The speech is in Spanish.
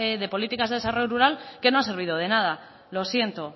de desarrollo rural que no ha servido de nada lo siento